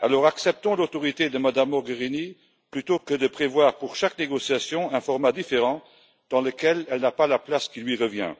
alors acceptons l'autorité de Mme Mogherini plutôt que de prévoir, pour chaque négociation, un format différent dans lequel elle n'a pas la place qui lui revient.